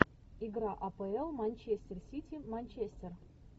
игра апл манчестер сити манчестер